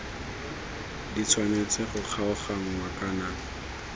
di tshwanetse go kgaoganngwa kana